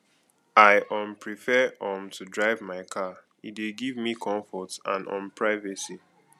i um prefer um to drive my car e dey give me comfort and um privacy